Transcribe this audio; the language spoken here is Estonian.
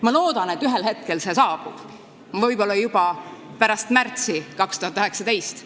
Ma loodan, et see ühel hetkel saabub, võib-olla juba pärast 2019. aasta märtsi.